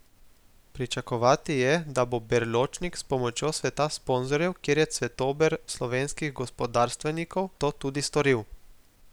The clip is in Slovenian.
Pričakovati je, da bo Berločnik s pomočjo sveta sponzorjev, kjer je cvetober slovenskih gospodarstvenikov, to tudi storil.